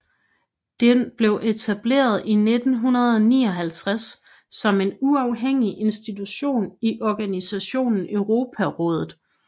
Den blev etableret i 1959 som en uafhængig institution i organisationen Europarådet